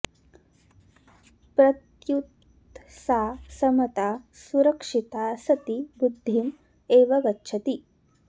प्रत्युत सा समता सुरक्षिता सती वृद्धिम् एव गच्छति